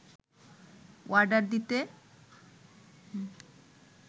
order দিতে